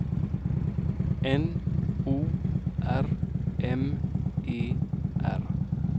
N O R M E R